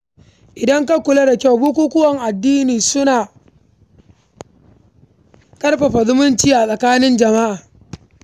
Idan ka kula da kyau, bukukuwan addini suna ƙarfafa zumunci a tsakanin jama’a.